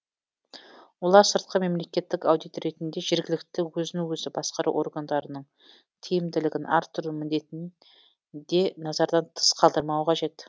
олар сыртқы мемлекеттік аудит ретінде жергілікті өзін өзі басқару органдарының тиімділігін арттыру міндетін де назардан тыс қалдырмауы қажет